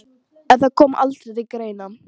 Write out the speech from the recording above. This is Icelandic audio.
En það kom aldrei til greina.